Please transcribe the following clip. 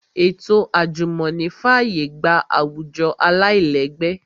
Ètò àjùmọ̀ní fàyè gba àwùjọ aláìlẹ́gbẹ́